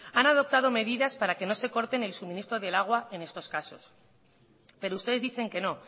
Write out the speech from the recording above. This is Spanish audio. han adoptado medidas para que no se corte el suministro del agua en estos casos pero ustedes dicen que no